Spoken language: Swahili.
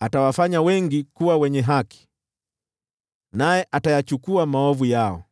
atawafanya wengi kuwa wenye haki, naye atayachukua maovu yao.